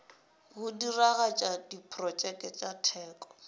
go diragatša diprotšeke tša teko